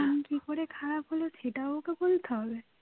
কি করে খারাপ হলো সেটাও ওকে বলতে হবে